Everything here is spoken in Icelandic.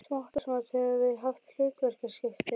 Smátt og smátt höfum við haft hlutverkaskipti.